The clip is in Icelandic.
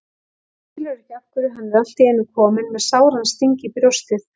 Skilur ekki af hverju hann er allt í einu kominn með sáran sting í brjóstið.